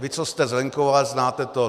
Vy, co jste z venkova, znáte to.